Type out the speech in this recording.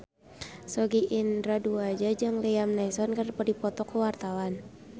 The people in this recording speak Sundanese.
Sogi Indra Duaja jeung Liam Neeson keur dipoto ku wartawan